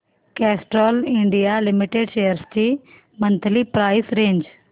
Castrol India limited shares ची monthly price range